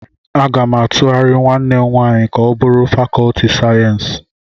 Aga m atughari nwanne m nwanyị ka o bụrụ fàkọọtị sayensị.